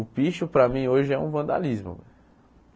O picho para mim hoje é um vandalismo.